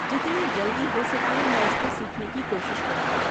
جتنی جلدی ہو سکے میں اس کو سیکھنے کی کوشش کروں گی۔